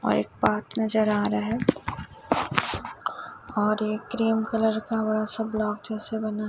और एक पार्क नजर आ रहा है और एक क्रीम कलर का बड़ा सा ब्लॉक जैसे बना--